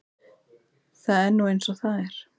Það er nú eins og það er.